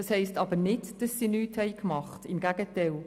Das heisst aber nicht, dass sie nichts gemacht haben – im Gegenteil.